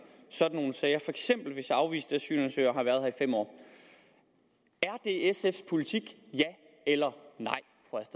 sådan nogle sager for eksempel hvis afviste asylansøgere har været her i fem år er det sfs politik ja eller nej